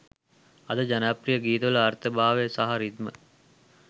අද ජනප්‍රිය ගීතවල අර්ථ භාව සහ රි්දම